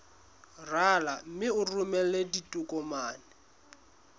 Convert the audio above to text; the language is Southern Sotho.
rala mme o romele ditokomene